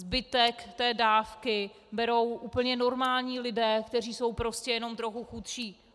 Zbytek té dávky berou úplně normální lidé, kteří jsou prostě jenom trochu chudší.